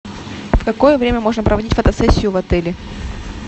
в какое время можно проводить фотосессию в отеле